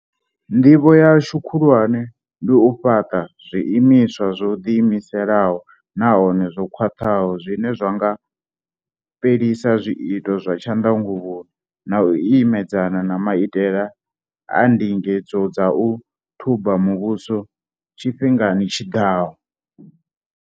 Ndivho yashu khulwane ndi u fhaṱa zwiimiswa zwo ḓiimisaho nahone zwo khwaṱhaho zwine zwa nga fhelisa zwiito zwa tshanḓanguvhoni na u ime dzana na maitele a ndinge dzo dza u thuba muvhuso tshifhingani tshiḓaho.